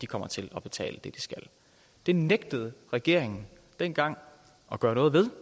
kommer til at betale det de skal det nægtede regeringen dengang at gøre noget ved